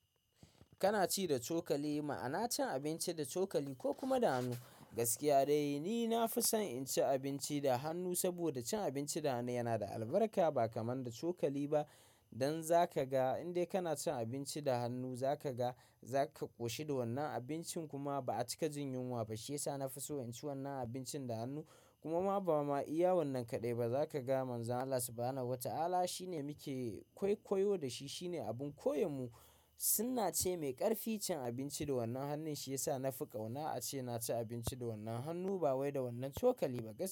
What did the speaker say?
Kana ci da cokali ma ana cin abinci da cokali ko kuma da hannu. Gaskiya dai ni na fi son in ci abinci da hannu saboda cin abinci da hannu yana da albarka ba kaman da cokali ba. Dan za ka ga in dai kana cin abinci da hannu za ka ga za ka ƙoshi da wannan abincin kuma ba a cika jin yunwa ba. Shi ya sa na fi so in ci wannan abincin da hannu kuma ba ma iya wannan kaɗai ba. Za ka ga Manzon Allah Sallallahu Ala shi ne muke kwaikwayo da shi, shi ne abin koyon mu. Sunna ce mai ƙarfi. Cin abinci da wannan hannun shi ya sa na fi ƙauna. A ce na ci abinci da wannan hannu ba wai da wannan cokali ba gask.